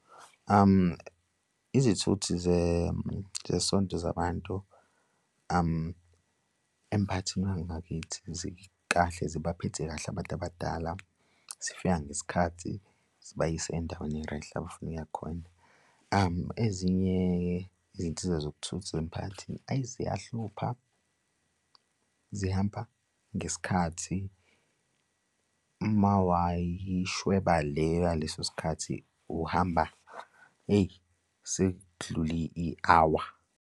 Izithuthi zesonto zabantu emphakathini wangakithi zikahle zibaphethe kahle abantu abadala, zifika ngesikhathi zibayise ey'ndaweni eyi-right, abafuna ukuya khona. Ezinye izinsiza zokuthutha zasemphakathini eyi, ziyahlupha, zihamba ngesikhathi uma wayishweba le yaleso sikhathi uhamba, eyi sekudlule i-hour.